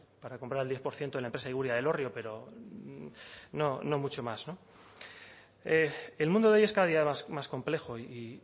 para comprar el diez por ciento de la empresa iguria de elorrio pero no mucho más no el mundo de hoy es cada día más complejo y